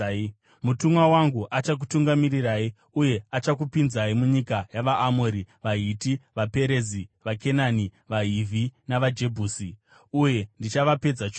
Mutumwa wangu achakutungamirirai uye achakupinzai munyika yavaAmori, vaHiti, vaPerezi, vaKenani, vaHivhi navaJebhusi, uye ndichavapedza chose.